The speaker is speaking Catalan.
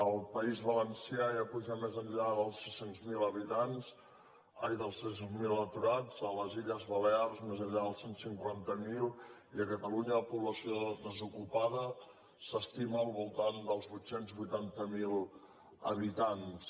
al país va lencià ja puja més enllà dels sis cents miler aturats a les illes balears més enllà dels cent i cinquanta miler i a catalunya la població desocupada s’estima al voltant dels vuit cents i vuitanta miler habitants